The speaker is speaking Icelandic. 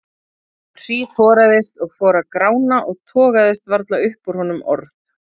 Hann hríðhoraðist og fór að grána og togaðist varla upp úr honum orð.